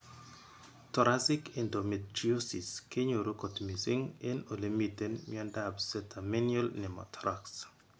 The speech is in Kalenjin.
Thoracic endometriosis kenyoru kot mising en ole miten miondap catamenial pneumothorax.